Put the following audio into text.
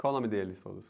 Qual o nome deles todos?